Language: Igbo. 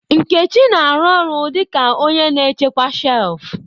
Nkechi na-arụ ọrụ dị ka onye na-echekwa shelf.